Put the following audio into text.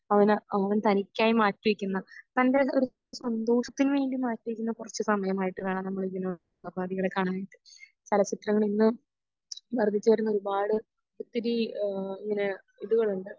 അവനെ അവൻ തനിക്കായി മാറ്റി വെക്കുന്ന തൻ്റെ ഒരു സന്തോഷത്തിന് വേണ്ടി മാറ്റി വെക്കുന്ന കുറച്ചു സമയമായിട്ട് വേണം നമ്മളിതിനെ ഉപാദികളെ കാണാനായിട്ട് ചലചിത്രങ്ങൾ ഇന്ന് വർധിച്ചു വരുന്ന ഒരുപാട് ഒത്തിരി ഇഹ് ഇങ്ങനെ ഇതുകളുണ്ട്